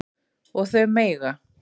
Og þau mega